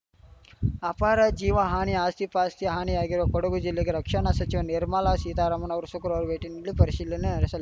ಅಪಾರ ಜೀವ ಹಾನಿ ಆಸ್ತಿಪಾಸ್ತಿ ಹಾನಿಯಾಗಿರುವ ಕೊಡಗು ಜಿಲ್ಲೆಗೆ ರಕ್ಷಣಾ ಸಚಿವೆ ನಿರ್ಮಲಾ ಸೀತಾರಾಮನ್‌ ಅವರು ಶುಕ್ರವಾರ ಭೇಟಿ ನೀಡಿ ಪರಿಶೀಲನೆ ನಡೆಸಲಿ